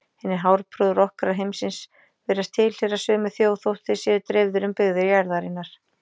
Hinir hárprúðu rokkarar heimsins virðast tilheyra sömu þjóð þótt þeir séu dreifðir um byggðir jarðarinnar.